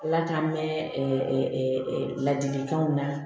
Ala k'an mɛn ladilikanw na